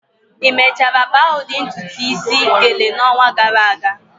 Ị mechara kpaa udi ntutu isi, "gele" n'ọnwa gara aga?